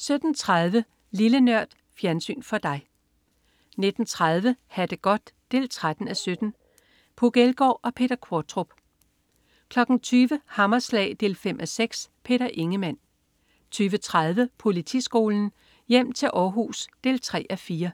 17.30 Lille Nørd. Fjernsyn for dig 19.30 Ha' det godt 13:17. Puk Elgård og Peter Qvortrup 20.00 Hammerslag 5:6. Peter Ingemann 20.30 Politiskolen. Hjem til Århus 3:4